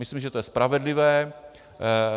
Myslím, že to je spravedlivé.